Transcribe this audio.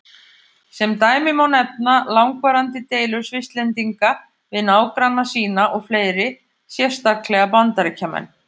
Sem dæmi má nefna langvarandi deilur Svisslendinga við nágranna sína og fleiri, sérstaklega Bandaríkjamenn.